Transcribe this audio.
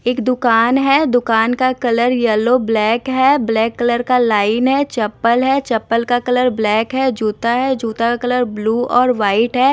एक दुकान हैं दुकान का कलर येलो ब्लैक हैं ब्लैक कलर का लाइन हैं चप्पल है चप्पल का कलर ब्लैक है जूता है जूता कलर ब्लू और व्हाइट है।